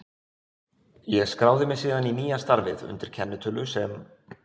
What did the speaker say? Ég skráði mig síðan í nýja starfið undir kennitölu sem